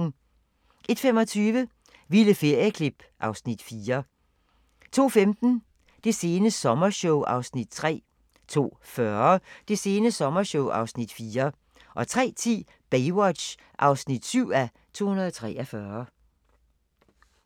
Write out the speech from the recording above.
01:25: Vilde ferieklip (Afs. 4) 02:15: Det sene sommershow (Afs. 3) 02:40: Det sene sommershow (Afs. 4) 03:10: Baywatch (7:243)